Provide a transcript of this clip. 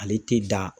Ale tɛ da